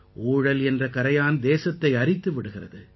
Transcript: ஊழல் என்ற கரையான் தேசத்தை அரித்து விடுகிறது